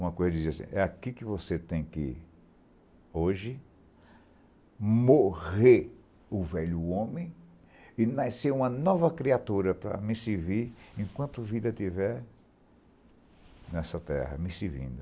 Uma coisa dizia assim, é aqui que você tem que, hoje, morrer o velho homem e nascer uma nova criatura para me servir enquanto vida estiver nessa terra me servindo.